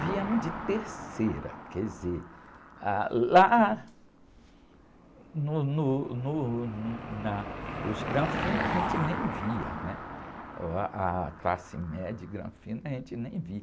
Viemos de terceira, quer dizer, lá, no, no, no, no, na, os granfinos a gente nem via, né? Uh, ôh, ah, a classe média de granfino a gente nem via.